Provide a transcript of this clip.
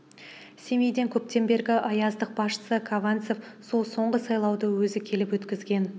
семейдің көптен бергі ояздық басшысы казанцев сол соңғы сайлауды өзі келіп өткізген